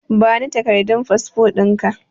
Bani takardun fasfo ɗinka